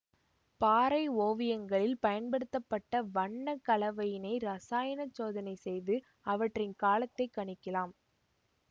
பாறை ஓவியங்களில் பயன்படுத்த பட்ட வண்ண கலவையினை இரசாயனச் சோதனை செய்து அவற்றின் காலத்தை கணிக்கலாம்